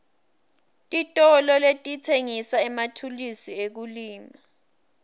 titolo letitsengisa emathulusi ekulima